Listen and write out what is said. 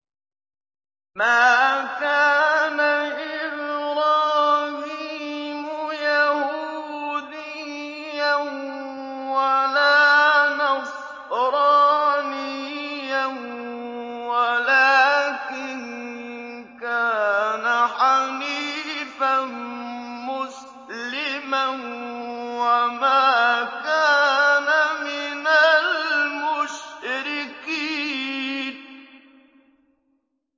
مَا كَانَ إِبْرَاهِيمُ يَهُودِيًّا وَلَا نَصْرَانِيًّا وَلَٰكِن كَانَ حَنِيفًا مُّسْلِمًا وَمَا كَانَ مِنَ الْمُشْرِكِينَ